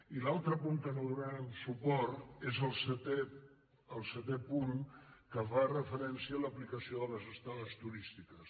i l’altre punt a què no donarem suport és el setè punt que fa referència a l’aplicació de les estades turístiques